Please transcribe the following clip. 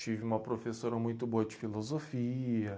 Tive uma professora muito boa de filosofia.